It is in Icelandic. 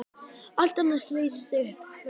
Og allt annað leysist upp, verður að engu.